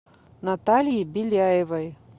наталье беляевой